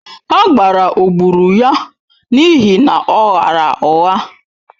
Agbara o gburu ya n'ihi na ọ ghaara ụgha?